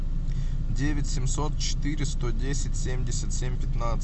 девять семьсот четыре сто десять семьдесят семь пятнадцать